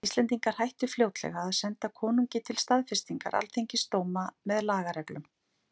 Íslendingar hættu fljótlega að senda konungi til staðfestingar alþingisdóma með lagareglum.